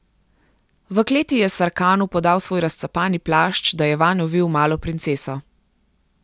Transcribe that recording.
V kleti je Sarkanu podal svoj razcapani plašč, da je vanj ovil malo princeso.